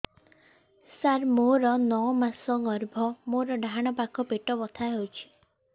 ସାର ମୋର ନଅ ମାସ ଗର୍ଭ ମୋର ଡାହାଣ ପାଖ ପେଟ ବଥା ହେଉଛି